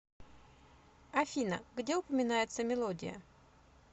афина где упоминается мелодия